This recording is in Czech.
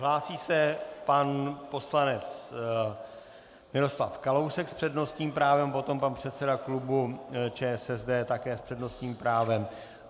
Hlásí se pan poslanec Miroslav Kalousek s přednostním právem, potom pan předseda klubu ČSSD také s přednostním právem.